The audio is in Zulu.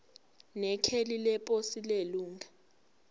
nekheli leposi lelunga